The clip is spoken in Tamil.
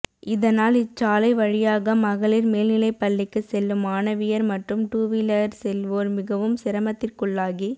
இதனால் இச்சாலை வழியாக மகளிர் மேல்நிலைப்பள்ளிக்கு செல்லும் மாணவியர் மற்றும் டூவீலரில் செல்வோர் மிகவும் சிரமத்திற்குள்ளாகி